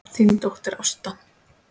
Þín dóttir Ásta.